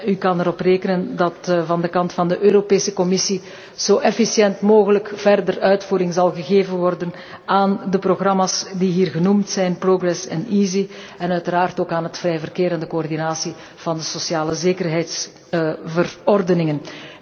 U kunt erop rekenen dat van de kant van de Europese Commissie zo efficiënt mogelijk verder uitvoering zal worden gegeven aan de programma's die hier genoemd zijn, Progress en EaSI, en uiteraard ook aan het vrije verkeer en de coördinatie van de socialezekerheidsverordeningen.